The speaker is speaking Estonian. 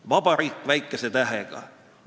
"– "vabariik" väikese tähega.